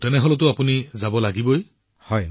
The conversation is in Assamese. প্ৰধানমন্ত্ৰীঃ অ তেন্তে আপুনি নিশ্চিতভাৱে যাব